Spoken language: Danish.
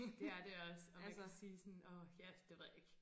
Det er det også og man kan sige sådan åh ja det ved jeg ikke